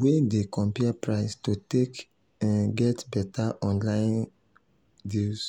wey dey compare price to take um get better online um deals